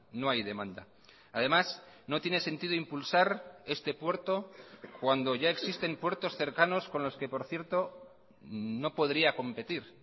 no hay demanda además no tiene sentido impulsar este puerto cuando ya existen puertos cercanos con los que por cierto no podría competir